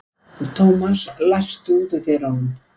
Thomas, læstu útidyrunum.